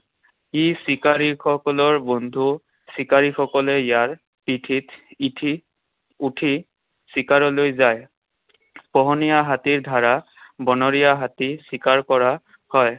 ই চিকাৰীসকলৰ বন্ধু। চিকাৰীসকলে ইয়াৰ পিঠিত উঠি চিকাৰলৈ যায়। পোহনীয়া হাতীৰ দ্বাৰা বনৰীয়া হাতী চিকাৰ কৰা হয়।